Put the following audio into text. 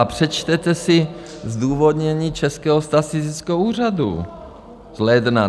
A přečtěte si zdůvodnění Českého statistického úřadu z ledna.